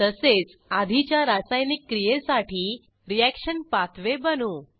तसेच आधीच्या रासायनिक क्रियेसाठी रिअॅक्शन पाथवे बनवू